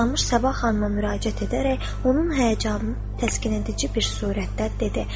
Toxtamış Sabah xanıma müraciət edərək, onun həyəcanı təskin edici bir surətdə dedi: